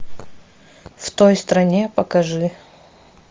в той стране покажи